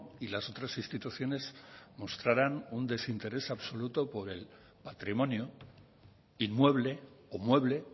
y las otras instituciones mostrarán un desinterés absoluto por el patrimonio inmueble o mueble